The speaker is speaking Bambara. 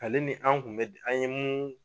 Ale ni an kun bɛ di an ye mu